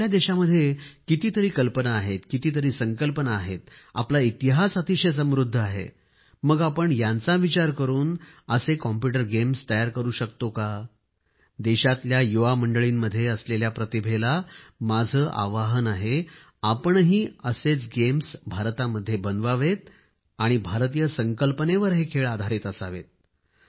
आपल्या देशामध्ये कितीतरी कल्पना आहेत कितीतरी संकल्पना आहेत आपला इतिहास अतिशय समृद्ध आहे मग आपण यांचा विचार करून असे कॉम्प्यूटर गेम्स तयार करू शकतो का देशातल्या युवा मंडळींमध्ये असलेल्या प्रतिभेला माझे आवाहन आहे आपणही असेच गेम्स भारतामध्ये बनवावेत आणि भारतीय संकल्पनेवर हे खेळ असावेत